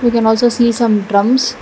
we can also see some drums.